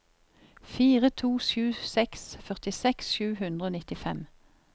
fire to sju seks førtiseks sju hundre og nittifem